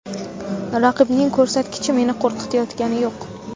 Raqibning ko‘rsatkichi meni qo‘rqitayotgani yo‘q.